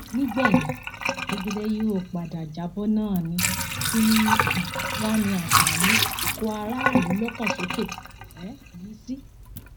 nígbẹyìn jẹgẹdẹ yóò padà já bọ náà ni kí um wàá ní àǹfààní ikọaráàlúlọkànsókè um yìí sí